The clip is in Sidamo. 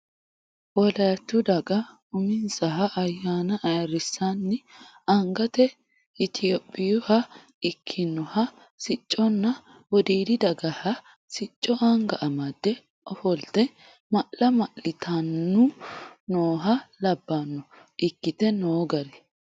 Woliyatu daga uminsaha ayyaanna ayirrisanni angate itophiyuha ikkinoha sicconna wodiidi dagaha sicco anga amade ofolte ma'la ma'littannu nooha labbano ikkite noo gari.